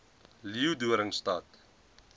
leeudoringstad